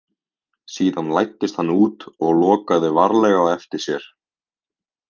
Síðan læddist hann út og lokaði varlega á eftir sér.